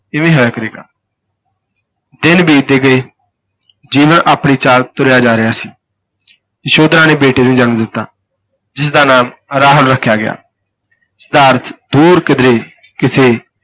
ਇਵੇਂ ਹੀ ਹੋਇਆ ਕਰੇਗਾ ਦਿਨ ਬੀਤਦੇ ਗਏ ਜੀਵਨ ਆਪਣੀ ਚਾਲ ਤੁਰਿਆ ਜਾ ਰਿਹਾ ਸੀ ਯਸ਼ੋਧਰਾ ਨੇ ਬੇਟੇ ਨੂੰ ਜਨਮ ਦਿੱਤਾ, ਜਿਸ ਦਾ ਨਾਮ ਰਾਹੁਲ ਰੱਖਿਆ ਗਿਆ, ਸਿਧਾਰਥ ਦੂਰ ਕਿਧਰੇ ਕਿਸੇ